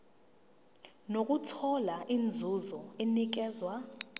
nokuthola inzuzo enikezwa